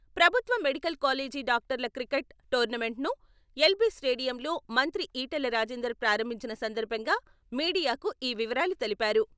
ప్రభుత్వ medical college డాక్టర్ల cricket tournament ను ఎల్.బి స్టేడియంలో మంత్రి ఈటెల రాజేందర్ ప్రారంభించిన సందర్భంగా మీడియాకు ఈ వివరాలు తెలిపారు.